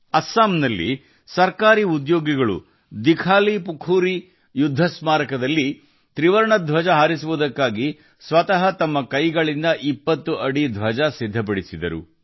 ಅಸ್ಸಾಂನಲ್ಲಿ ದಿಘಾಲಿಪುಖುರಿ ಯುದ್ಧ ಸ್ಮಾರಕದಲ್ಲಿ ಹಾರಿಸಲು ಸರ್ಕಾರಿ ನೌಕರರು ತಮ್ಮ ಕೈಗಳಿಂದ 20 ಅಡಿ ತ್ರಿವರ್ಣ ಧ್ವಜವನ್ನು ರಚಿಸಿದರು